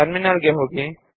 terminal ಗೆ ಹೋಗೋಣ